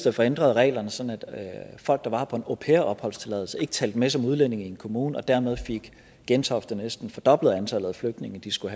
at få ændret reglerne sådan at folk der var her på en au pair opholdstilladelse ikke talte med som udlændinge i en kommune og dermed fik gentofte næsten fordoblet antallet af flygtninge de skulle